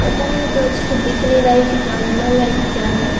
पता नहीं ए तो अच्छे से दिख नहीं रहा है की ताजमहल है की क्या है।